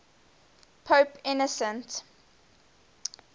pope innocent